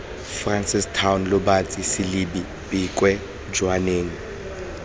francistown lobatse selebi pikwe jwaneng